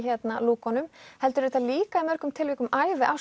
lúkunum heldur er þetta líka í mörgum tilvikum